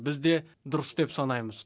біз де дұрыс деп санаймыз